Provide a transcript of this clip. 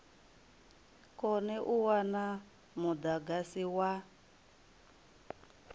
kone u wana mudagasi wa